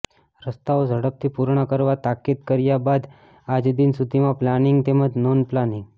રસ્તાઓ ઝડપથી પૂર્ણ કરવા તાકીદ કર્યા બાદ આજદિન સુધીમાં પ્લાનીંગ તેમજ નોન પ્લાનીંગ